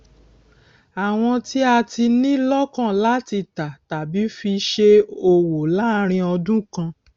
àwọn tí a ti ní lókàn láti tà tàbí fi ṣe òwò láàrín ọdún kan